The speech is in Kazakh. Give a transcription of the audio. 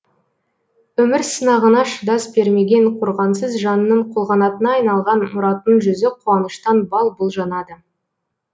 өмір сынағына шыдас бермеген қорғансыз жанның қолғанатына айналған мұраттың жүзі қуаныштан бал бұл жанады